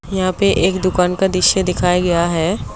यहां पे एक दुकान का दृश्य दिखाया गया है।